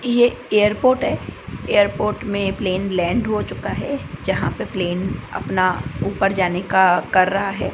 ये एयरपोर्ट है एयरपोर्ट में प्लेन लैंड हो चुका है जहां पे प्लेन अपना ऊपर जाने का कर रहा है।